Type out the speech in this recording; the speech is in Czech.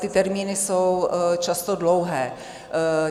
Ty termíny jsou často dlouhé.